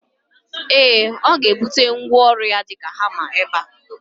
Ee, ọga ebute ngwaọru ya dika hama ebe